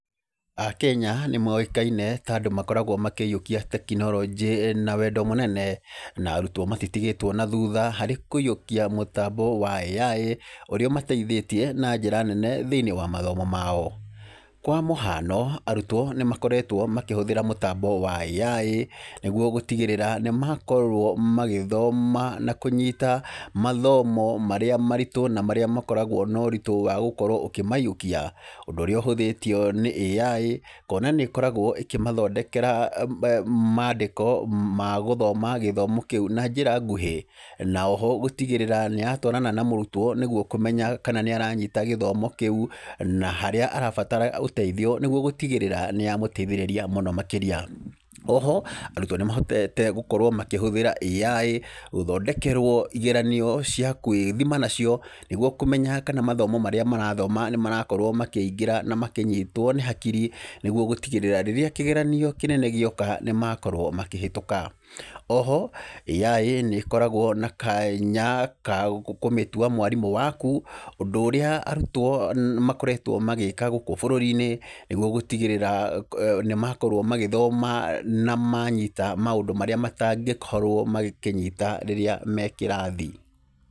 Akenya nĩ moĩkaine ta andũ makoragwo makĩiyũkia tekinoronjĩ na wendo mũnene, na arutwo matitigĩtwo na thutha harĩ kũiyũkia mũtambo wa AI, ũrĩa ũmateithĩtie na njĩra nene thĩinĩ wa mathomo mao. Kwa mũhano, arutwo nĩ makoretwo makĩhũthĩra mũtambo wa AI nĩgũo gũtigĩrĩra nĩ makorwo magĩthoma na kũnyita mathomo marĩa maritũ, na marĩa makoragwo na ũrĩtũ wa gũkorwo ũkĩmaiyũkia, ũndũ ũrĩa ũhũthĩtio nĩ AI kũona nĩ ĩkoragwo ĩkĩmathondekera mandĩko ma gũthoma gĩthomo kĩu na njĩra nguhĩ. Na oho gũtigĩrĩra nĩ yatwarana na mũrutwo nĩgũo kũmenya kana nĩ aranyita gĩthomo kĩu, na harĩa arabatara ũteithio nĩgũo gũtigĩrĩra nĩ yamũteithĩrĩria mũno makĩria. Oho arutwo nĩ mahotete gũkorwo makĩhũthĩra AI, gũthondekerwo igeranio cia gwĩthima nacio nĩgũo kũmenya kana mathomo marĩa marathoma nĩ marakorwo makĩingĩra na makĩnyitwo nĩ hakiri, nĩgũo gũtigĩrĩra rĩrĩa kĩgeranio kĩnene gĩoka nĩ makorwo makĩhĩtũka. Oho, AI nĩ ĩkoragwo na kanya ka kũmĩtua mwarimũ waku, ũndũ ũrĩa arutwo makoretwo magĩka gũkũ bũrũri-inĩ nĩgũo gũtigĩrĩra nĩ makorwo magĩthoma, na manyita maũndũ marĩa matangĩkorwo magĩkĩnyita rĩrĩa me kĩrathi.